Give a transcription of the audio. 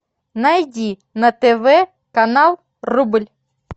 найди на тв канал рубль